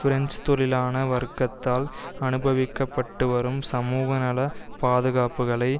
French தொழிலாள வர்க்கத்தால் அனுபவிக்கப்பட்டுவரும் சமூகநல பாதுகாப்புக்களை